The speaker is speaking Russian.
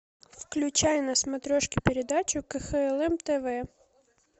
включай на смотрешке передачу кхлм тв